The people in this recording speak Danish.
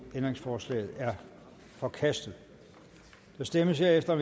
ændringsforslaget er forkastet der stemmes herefter